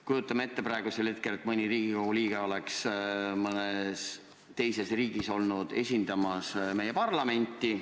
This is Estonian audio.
Kujutame ette, et mõni Riigikogu liige on mõnes teises riigis esindanud meie parlamenti.